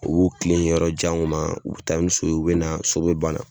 U b'u tilen yɔrɔ janw ma, u bɛ taa ni so ye, u bɛna na so bɛ bana.